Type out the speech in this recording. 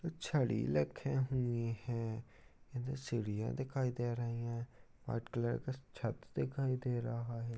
छड़ी रखे हुए हैं इधर सीढ़ियां दिखाई दे रही है व्हाइट कलर का छत दिखाई दे रहा है।